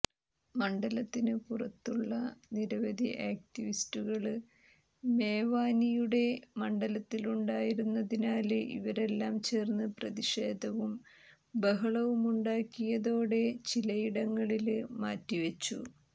മണ്ഡലത്തിന് പുറത്തുള്ള നിരവധി ആക്ടിവിസ്റ്റുകള് മേവാനിയുടെ മണ്ഡലത്തിലുണ്ടായിരുന്നതിനാല് ഇവരെല്ലാം ചേര്ന്ന് പ്രതിഷേധവും ബഹളവുമുണ്ടാക്കിയതോടെ ചിലയിടങ്ങളില് മാറ്റിവെച്ചു